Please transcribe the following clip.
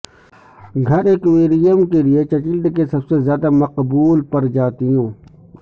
گھر ایکویریم کے لئے چچلڈ کے سب سے زیادہ مقبول پرجاتیوں